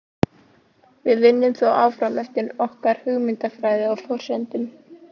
Við vinnum þó áfram eftir okkar hugmyndafræði og forsendum.